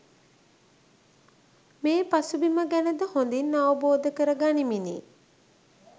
මේ පසුබිම ගැන ද හොඳින් අවබෝධ කර ගනිමිනි